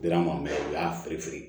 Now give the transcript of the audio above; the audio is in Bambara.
Dira ma u y'a firin